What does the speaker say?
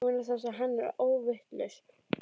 Vegna þess að hann er óvitlaus.